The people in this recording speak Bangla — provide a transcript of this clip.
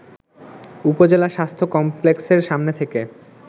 উপজেলা স্বাস্থ্য কমপ্লেক্সের সামনে থেকে